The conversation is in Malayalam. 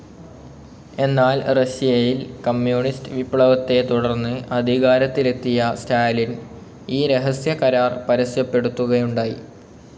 എന്നാൽ റഷ്യയിൽ കമ്മ്യൂണിസ്റ്റ്‌ വിപ്ലവത്തെ തുടർന്ന് അധികാരത്തിലെത്തിയ സ്റ്റാലിൻ ഈ രഹസ്യ കരാർ പരസ്യപ്പെടുത്തുകയുണ്ടായി.